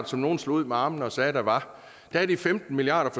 som nogle slog ud med armene og sagde der var er de femten milliard